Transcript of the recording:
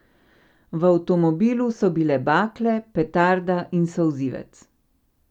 V avtomobilu so bile bakle, petarde in solzivec.